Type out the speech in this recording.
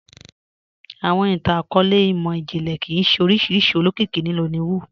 Awọn ìtàn-akọọlẹ̀ imọ-jinlẹ kíí ṣẹ oriṣiríṣi olókìkì ní Nollywood